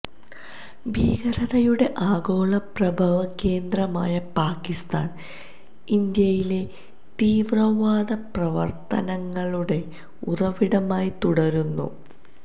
ഭീകരതയുടെ ആഗോള പ്രഭവകേന്ദ്രമായ പാകിസ്താന് ഇന്ത്യയിലെ തീവ്രവാദ പ്രവര്ത്തനങ്ങളുടെ ഉറവിടമായി തുടരുന്നു